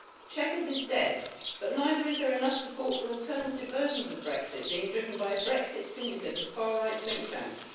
Chequers is dead, but neither is there enough support for alternative versions of Brexit being driven by a Brexit syndicate of far right think tanks.